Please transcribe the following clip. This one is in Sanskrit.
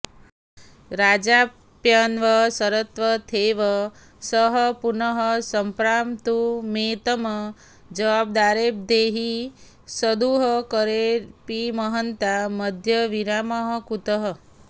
राजाप्यन्वसरत्तथैव सः पुनः सम्प्राप्तुमेतम् जवादारब्धे हि सुदुःकरेऽपि महतां मध्ये विरामः कुतः